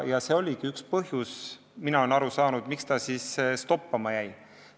See oligi üks põhjusi, nagu mina olen aru saanud, miks ta siis toppama jäi.